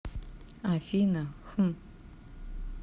афина хм